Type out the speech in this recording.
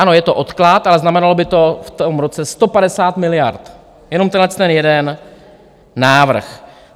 Ano, je to odklad, ale znamenalo by to v tom roce 150 miliard, jenom tenhle jeden návrh.